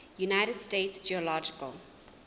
united states geological